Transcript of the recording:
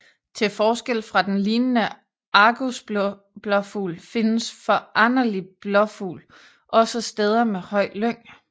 Til forskel fra den lignende argusblåfugl findes foranderlig blåfugl også på steder med høj lyng